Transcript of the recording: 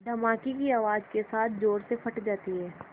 धमाके की आवाज़ के साथ ज़ोर से फट जाती है